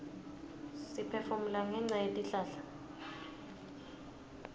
siphefumula ngenca yetihlahla